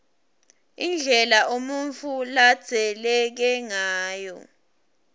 indlela umuntfu ladzaleke ngayo